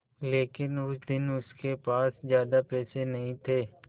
लेकिन उस दिन उसके पास ज्यादा पैसे नहीं थे